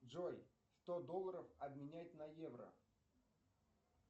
джой сто долларов обменять на евро